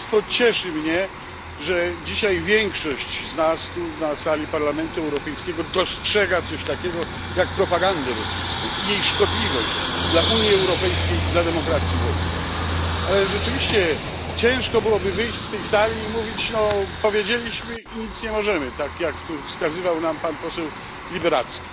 Cieszy mnie, że dzisiaj większość z nas tu na sali Parlamentu Europejskiego dostrzega coś takiego jak propaganda rosyjska i jej szkodliwość dla Unii Europejskiej, dla demokracji w ogóle, ale rzeczywiście ciężko byłoby wyjść z tej sali i mówić No, powiedzieliśmy i nic nie możemy, tak jak tu wskazywał nam pan poseł Liberadzki.